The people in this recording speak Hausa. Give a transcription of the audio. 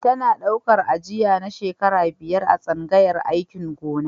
Tana ɗaukar aji na shekara biyar a tsangayar aikin gona.